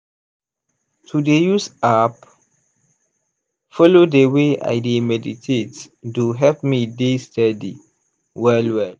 to dey use app follow dey way i dey meditate do help me dey steady well well.